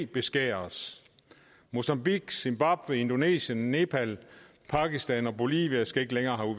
beskæres mozambique zimbabwe indonesien nepal pakistan og bolivia skal ikke længere